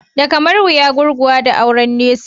Da kamar wuya gurguwa da auren nesa.